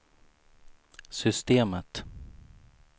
systemet